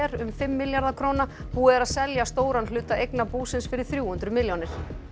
um fimm milljarða króna búið er að selja stóran hluta eigna búsins fyrir þrjú hundruð milljónir